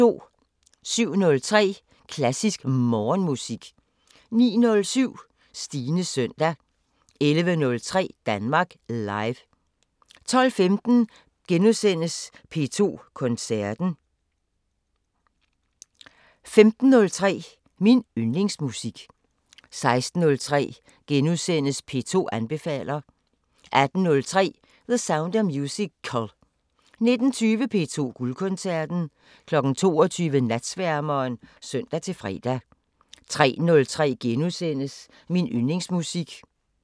07:03: Klassisk Morgenmusik 09:07: Stines søndag 11:03: Danmark Live 12:15: P2 Koncerten * 15:03: Min Yndlingsmusik 16:03: P2 anbefaler * 18:03: The Sound of Musical 19:20: P2 Guldkoncerten 22:00: Natsværmeren (søn-fre) 03:03: Min Yndlingsmusik *